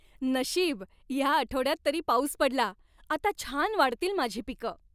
नशीब, या आठवड्यात तरी पाऊस पडला. आता छान वाढतील माझी पिकं.